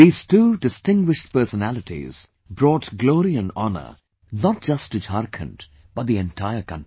These two distinguished personalities brought glory &honour not just to Jharkhand, but the entire country